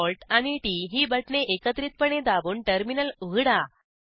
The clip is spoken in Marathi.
CTRLALTT ही बटणे एकत्रितपणे दाबून टर्मिनल उघडा